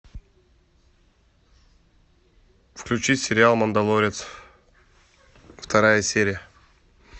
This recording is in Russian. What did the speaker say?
включить сериал мандалорец вторая серия